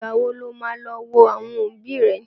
Ìgbà wo ló máa lọ wo àwọn òbí rẹ?